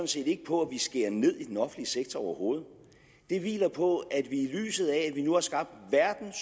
set ikke på at vi skærer ned i den offentlige sektor overhovedet den hviler på at vi i lyset af at vi nu har skabt verdens